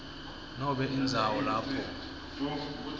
nobe indzawo lapho